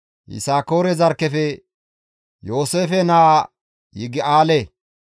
Yisakoore zarkkefe Yooseefe naa Yigi7aale,